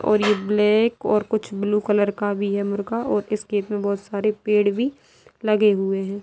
और ये ब्लैक और कुछ ब्लू कलर का भी है मुर्गा और इस खेत में बोहोत सारे पेड़ भी लगे हुए हैं।